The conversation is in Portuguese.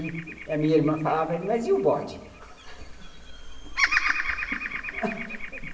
E a minha irmã falava, mas e o bode?